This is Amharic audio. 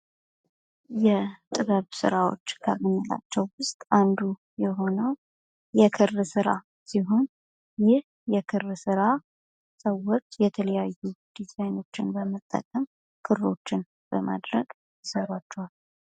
የጥበብ ስራዎች ከምንላቸው ውስጥ አንዱ የሆነው የክር ስራ ሲሆን ይህ የክር ስራ ሰዎች የተለያዩ ዲዛይኖችን በመጠቀም ክሮችን በማድር ረግ ይሰሯቸዋል።